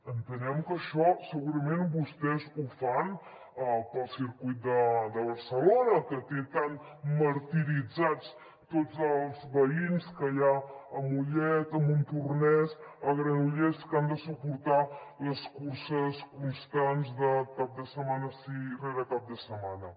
entenem que això segurament vostès ho fan pel circuit de barcelona que té tan martiritzats tots els veïns que hi ha a mollet a montornès a granollers que han de suportar les curses constants de cap de setmana rere cap de setmana